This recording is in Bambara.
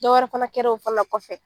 Dɔwɛrɛ fana kɛr'o fana kɔfɛ